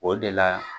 O de la